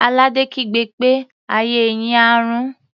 Àlàdé kígbe pé "ayé yín á rún!"